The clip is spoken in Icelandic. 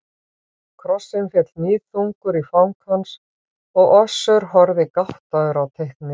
Krossinn féll níðþungur í fang hans og Össur horfði gáttaður á teiknið.